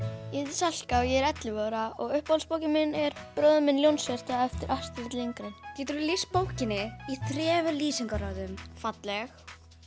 Salka og ég er ellefu ára uppáhaldsbókin mín er bróðir minn Ljónshjarta eftir Astrid Lindgren geturðu lýst bókinni í þremur lýsingarorðum falleg